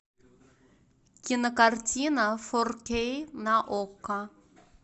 кинокартина фор кей на окко